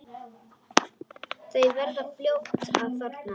Þau verða fljót að þorna.